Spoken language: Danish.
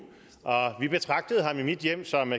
og vi betragtede ham i mit hjem som